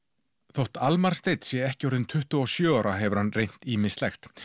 þótt Almar Steinn sé ekki orðinn tuttugu og sjö ára hefur hann reynt ýmislegt